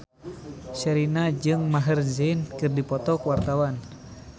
Sherina jeung Maher Zein keur dipoto ku wartawan